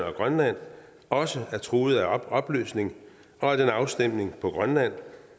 og grønland også er truet af opløsning og at en afstemning på grønland